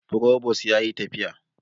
Frobos yayi tafiya